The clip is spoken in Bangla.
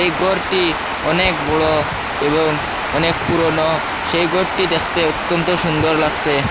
এই গরটি অনেক বড়ো এবং অনেক পুরোনো সেই গরটি দেখতে অত্যন্ত সুন্দর লাগসে ।